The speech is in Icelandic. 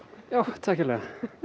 takk kærlega